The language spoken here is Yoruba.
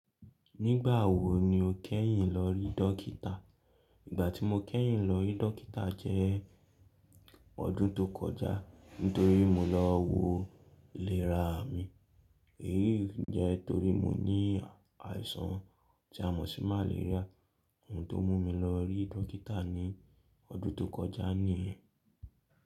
Nígbà wo ni o kẹ́yìn lọ rí dókítà? Ìgbà tí mo kẹ́yìn lọ rí dókítà jẹ́ ọdún tó kọjá nítorí mo lọ wo iléra mi. Èyí jẹ́ torí mo ní àìsàn tí a mọ̀ sí màléríà. Ohun tó mú mi lọ rí dókítà ní ọdún tó kọjá nìyẹn.